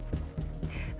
þá